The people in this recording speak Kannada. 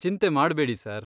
ಚಿಂತೆ ಮಾಡ್ಬೇಡಿ ಸರ್.